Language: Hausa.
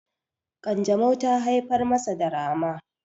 kanjamau ta haifar masa da rama